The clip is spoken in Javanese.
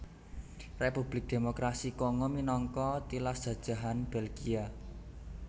Republik Démokrasi Kongo minangka tilas jajahan Belgia